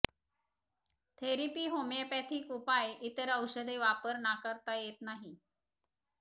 therapy homeopathic उपाय इतर औषधे वापर नाकारता येत नाही